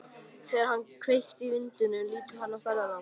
Þegar hann hefur kveikt í vindlinum lítur hann á ferðalang.